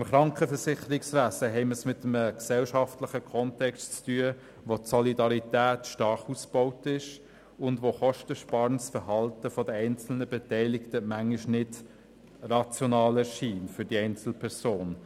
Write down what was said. Im Krankenversicherungswesen haben wir es mit einem gesellschaftlichen Kontext zu tun, in dem die Solidarität stark ausgebaut ist, und wo kostensparendes Verhalten der einzelnen Beteiligten bisweilen für die einzelne Person nicht rational erscheint.